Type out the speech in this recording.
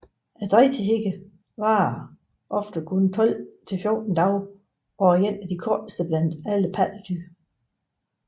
Drægtighedstiden varer ofte kun 12 til 14 dage og er en af de korteste blandt alle pattedyr